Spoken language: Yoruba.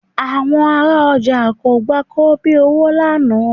Àwọn ará ọjà kò gba kobíowó lánàá